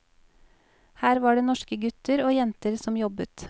Her var det norske gutter og jenter som jobbet.